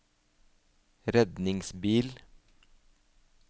redningsbil